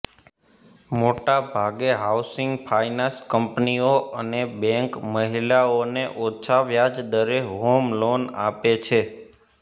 મોટે ભાગે housing finance કંપનીઓ અને બેંક મહિલાઓને ઓછા વ્યાજદરે હોમ લોન આપે છે